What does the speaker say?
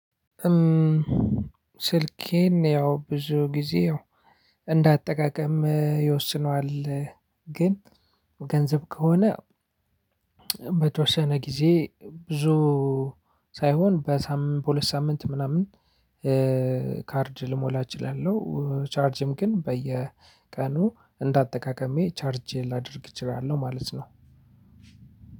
ስልኬን ያው ብዙ ጊዜ ያው እንዳጠቃቀም ይወስነዋል። ግን ገንዘብ ከሆነ በተወሰነ ጊዜ ብዙ ሳይሆን በሳምንት በሁለት ሳምንት ምናምን ካርድ ልሞላ እችላለሁ። ቻርጅም ግን በየቀኑ እንደ አጠቃቀሜ ቻርጅ ላደርግ እችላለሁ ማለት ነው።